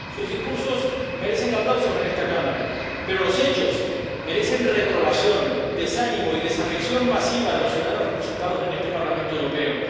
Sus discursos merecen aplausos en esta Cámara. Pero los hechos merecen la reprobación, el desánimo y la desafección masiva de los ciudadanos representados en este Parlamento Europeo.